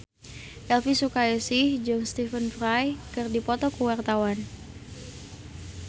Elvy Sukaesih jeung Stephen Fry keur dipoto ku wartawan